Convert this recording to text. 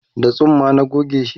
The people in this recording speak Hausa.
da tsumma na gogeshi